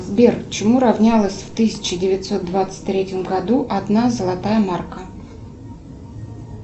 сбер чему равнялась в тысяча девятьсот двадцать третьем году одна золотая марка